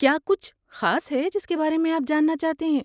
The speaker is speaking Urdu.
کیا کچھ خاص ہے جس کے بارے میں آپ جاننا چاہتے ہیں؟